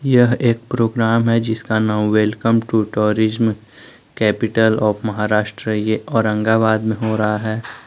यह एक प्रोग्राम है जिसका नाओ welcome to tourism capital of Maharashtra और ये औरंगाबाद में हो रहा है।